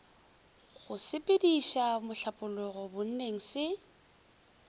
go sepediša mohlapologo bonneng se